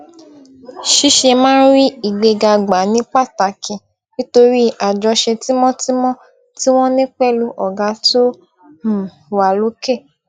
ṣiṣé máa ń rí ìgbéga gbà ní pàtàkì nítorí àjọṣe tímótímó tí wón ní pèlú ọgá tó um wà lókè